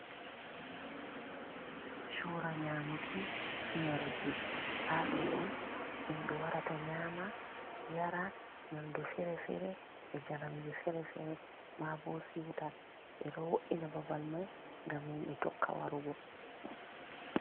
Chura nyamuki e yaruki hado on himɓɓe warata nyama yara nyamdu fere-fere, e jaramji fere-fere, ma bo siuta ɓe ɗo wo’ina babal mai ngam himɓɓe tokka warugo.